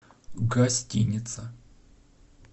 гостиница